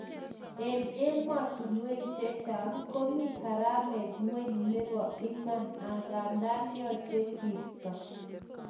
En emotunwek chechang komi karamet ngweny nebo iman angandan yoche kiisto